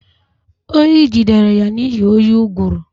Oyi jidere ya n'ihi oyi ụgụrụ